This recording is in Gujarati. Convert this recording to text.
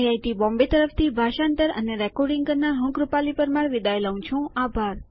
આઈઆઈટી બોમ્બે તરફથી ભાષાંતર કરનાર હું કૃપાલી પરમાર વિદાય લઉં છું